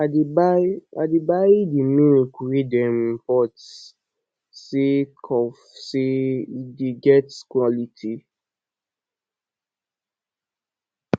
i dey buy i dey buy di milk wey dem import sake of sey e dey get quality